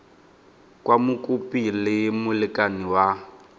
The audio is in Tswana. kwa mokopi le molekane wa